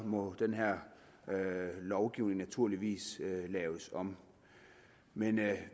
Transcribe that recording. må den her lovgivning naturligvis laves om men